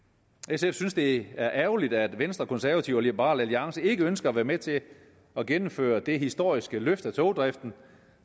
sf synes det er ærgerligt at venstre og konservative og liberal alliance ikke ønsker at være med til at gennemføre det historiske løft af togdriften